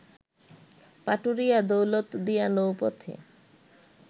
Paturia-Daulatdia নৌপথে